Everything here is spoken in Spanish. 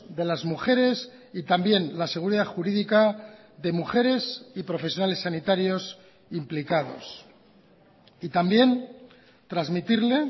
de las mujeres y también la seguridad jurídica de mujeres y profesionales sanitarios implicados y también transmitirle